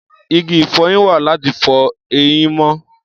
Igi ìfọyín wà láti fọ eyín mọ́.